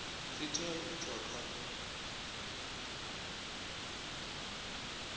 dzi tea u itwa kha